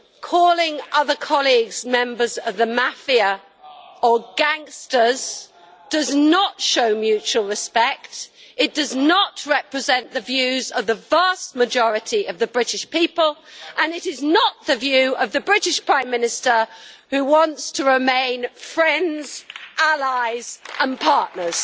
Calling other colleagues members of the mafia or gangsters does not show mutual respect, does not represent the views of the vast majority of the British people, and is not the view of the British Prime Minister, who wants to remain friends, allies and partners.